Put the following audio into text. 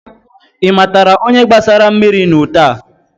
Ị matara onye gbasara mmiri n'ute a?